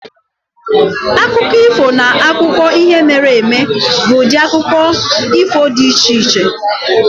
Akụkọ ifo na akụkọ ihe mere eme bụ ụdị akụkọ ifo dị iche-iche.